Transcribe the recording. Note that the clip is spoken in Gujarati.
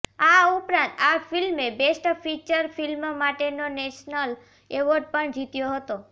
આ ઉપરાંત આ ફિલ્મે બેસ્ટ ફીચર ફિલ્મ માટેનો નેશનલ એવોર્ડ પણ જીત્યો હતો